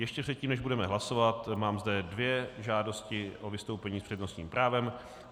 Ještě předtím, než budeme hlasovat, mám zde dvě žádosti o vystoupení s přednostním právem.